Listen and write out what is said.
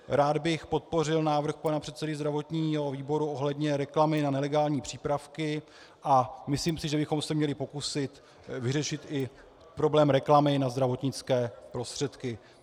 Rád bych podpořil návrh pana předsedy zdravotního výboru ohledně reklamy na nelegální přípravky a myslím si, že bychom se měli pokusit vyřešit i problém reklamy na zdravotnické prostředky.